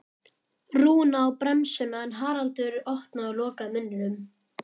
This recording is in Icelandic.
Rúna á bremsuna en Haraldur opnaði og lokaði munninum.